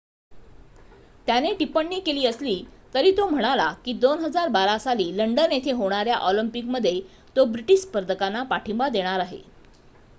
त्याने टिप्पणी केली असली तरी तो म्हणाला की 2012 साली लंडन येथे होणाऱ्या ऑलिम्पिक मध्ये तो ब्रिटीश स्पर्धकांना पाठींबा देणार आहे